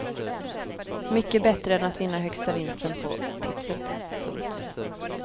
Mycket bättre än att vinna högsta vinsten på tipset. punkt